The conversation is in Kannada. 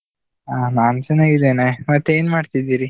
ಅಹ್, ನಾನ್ ಚೆನ್ನಾಗಿದ್ದೇನೆ, ಮತ್ತೆ ಏನ್ ಮಾಡ್ತಿದ್ದೀರಿ?